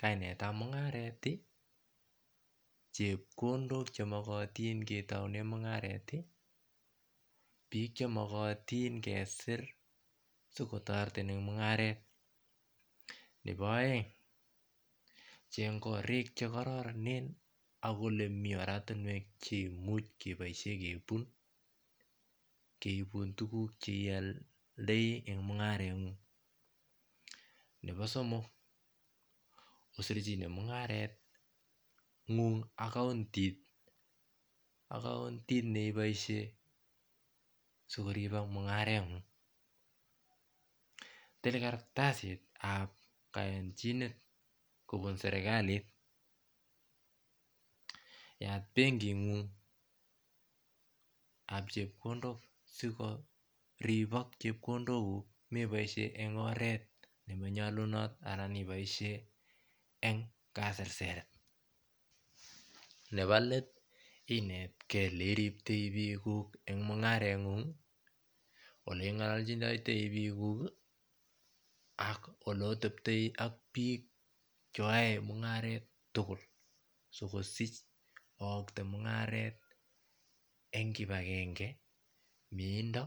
kainetab mungaret chepkondok chemokotin en mungareti biik chemokotin kesirvsikotireyin en mungaret nepo oeng Cheng korik chekororonen ak olemi oratinwek chekimuch keboishen kebun keibu tuguk cheioldoi en mungaret ngung nepo somok osirchinen mungaret ngung ak kountit ak kountit neboishen sikoripok mungaret ngung til kartasitab koyonchinet kobun serkalit yat bengingung ab chepkondok sikoripok chepkondok kuk meboishen en oret nemonyolunot ana meboishen en kaserseret nepo let inet Kee ele riptoi bikuk en mungaret ngung ele ingolochindoi bikuk ak oleotepoi ak biik cheyoe mungaret tugul sikosich ookte mungaret en kipakenge miendo